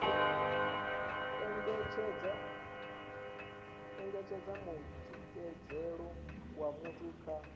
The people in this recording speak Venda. engedza mutikedzelo wa muthu kha